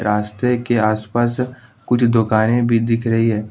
रस्ते के आसपास कुछ दुकानें भी दिख रही है।